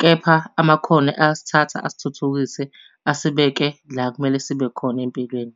Kepha amakhono ayasithatha asithuthukise, asibeke la ekumele sibe khona empilweni.